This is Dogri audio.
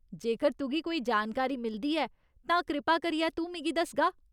जेकर तुगी कोई जानकारी मिलदी ऐ तां कृपा करियै तूं मिगी दसगा?